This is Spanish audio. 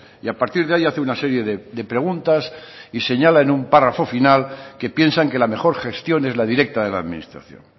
y a partir de ahí hace una serie de preguntas y señala en un párrafo final que piensan que la mejor gestión es la directa de la administración